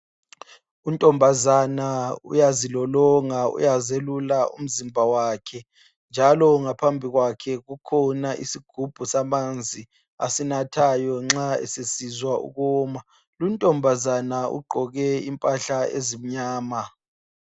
Untombazana uyazilolonga uyazelula umzimba wakhe njalo ngaphambi kwakhe kukhona isigubhu samanzi asenathayo nxa esesizwa ukuma luntombazana ugqoke impahla ezimnyama.